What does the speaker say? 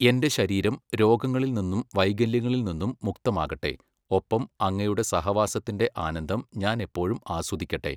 എൻ്റെ ശരീരം രോഗങ്ങളിൽ നിന്നും വൈകല്യങ്ങളിൽ നിന്നും മുക്തമാകട്ടെ, ഒപ്പം അങ്ങയുടെ സഹവാസത്തിന്റെ ആനന്ദം ഞാൻ എപ്പോഴും ആസ്വദിക്കട്ടെ!